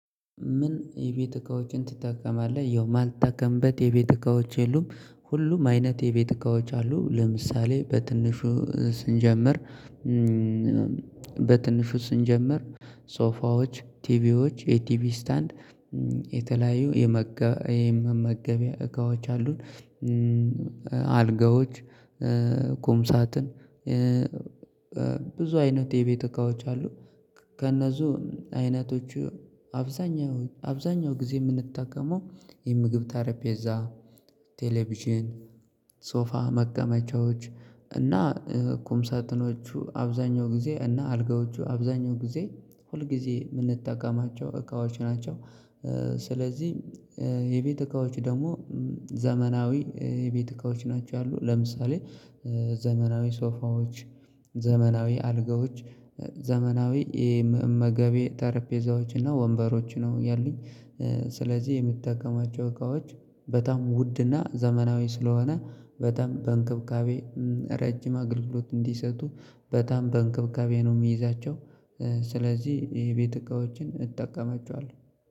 ምን የቤት እካዎችን ትጠቀማለህ? ያው ማልጠቀምበት የቤት እካዎች የሉም። ሁሉም አይነት የቤት እቃዎች አሉ ለምሳሌ በትንሹ ስንጀምር። በትንሹ ስንጀምር ሶፋዎች ቲቪዎች የቲቪ ስታንድ የተለያዩ የመገቢያ እቃዎች አሉን። አልጋዎች ቁምሳትን ብዙ አይነት የቤት እቃዎች አሉ። ከእነሱ አይነቶቹ አብዛኛው አብዛኛው ጊዜ የምንጠቀመው የምግብ ጠሪፔዛ ቴሌቪዥን ሶፋ መቀመጫዎች እና ኩም ሳጥኖቹ አብዛኛው ጊዜ እና አልጋዎቹ አብዛኛው ጊዜ ሁል ጊዜ የምንጠቀማቸው እቃዎች ናቸው። ስለዚህ የቤት እቃዎች ደግሞ ዘመናዊ የቤት እቃዎች ናቸው ያሉ ለምሳሌ ዘመናዊ ሶፋዎች ዘመናዊ አልጋዎች ዘመናዊ መመገበያተረፔዛዎች እና ወንበሮች ነው ያሉኝ። ስለዚህ የምትጠቀማቸው እቃዎች በጣም ውድና ዘመናዊ ስለሆነ በጣም በእንክብካቤ ረጅም አገልግሎት እንዲሰጡ በጣም በእንክብካቤ ነው የሚይዛቸው። ስለዚህ የቤት እቃዎችን እጠቀማቸዋለሁ